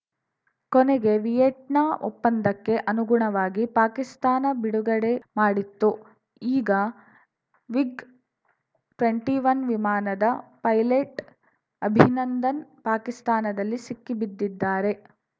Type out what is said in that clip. ಕೊನೆಗೆ ವಿಯೆಟ್ನಾ ಒಪ್ಪಂದಕ್ಕೆ ಅನುಗುಣವಾಗಿ ಪಾಕಿಸ್ತಾನ ಬಿಡುಗಡೆ ಮಾಡಿತ್ತು ಈಗ ವಿಗ್‌ಟ್ವೆಂಟಿಒನ್ ವಿಮಾನದ ಪೈಲಟ್‌ ಅಭಿನಂದನ್‌ ಪಾಕಿಸ್ತಾನದಲ್ಲಿ ಸಿಕ್ಕಿಬಿದ್ದಿದ್ದಾರೆ